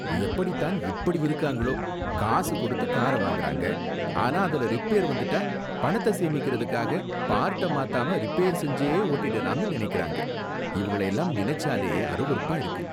எப்படி தான் இப்படி இருக்காங்களோ! காசு கொடுத்து கார வாங்குறாங்க! ஆனா அதுல ரிப்பேர் வந்துட்டா பணத்த சேமிக்கிறதுக்காக, பார்ட்ட மாத்தாம ரிப்பேர் செஞ்சே ஓட்டிடலாம்னு நினைக்கிறாங்க, இவங்கள எல்லாம் நினைச்சாலே அருவருப்பா இருக்கு.